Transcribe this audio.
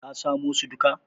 ka samo su duka?